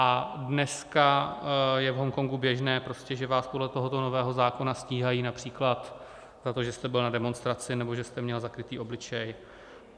A dneska je v Hongkongu běžné, že vás podle tohoto nového zákona stíhají například za to, že jste byl na demonstraci nebo že jste měl zakrytý obličej.